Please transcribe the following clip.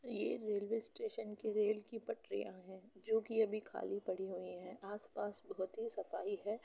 ये railway station की रेल की पटरियां है जो कि अभी खाली पड़ी हुई है आसपास बहुत ही सफाई है।